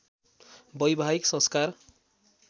वैवाहिक संस्कार